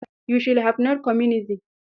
You should have know communism.